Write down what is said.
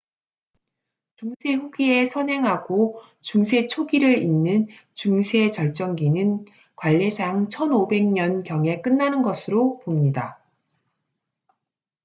중세 후기에 선행하고 중세 초기를 잇는 중세 절정기는 관례상 1500년 경에 끝나는 것으로 봅니다